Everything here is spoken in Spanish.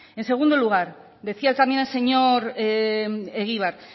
en segundo lugar decía también el señor egibar